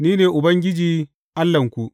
Ni ne Ubangiji Allahnku.’